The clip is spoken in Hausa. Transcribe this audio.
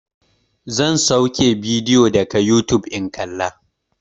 Zan sauke bidiyo daga yutub in kalla.